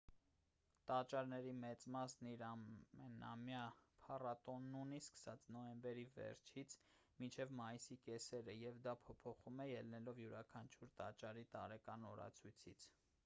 տաճարների մեծ մասն իր ամենամյա փառատոնն ունի սկսած նոյեմբերի վերջից մինչև մայիսի կեսերը և դա փոփոխվում է ելնելով յուրաքանչյուր տաճարի տարեկան օրացույցից